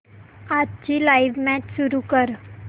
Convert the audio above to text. आजची live match सुरू कर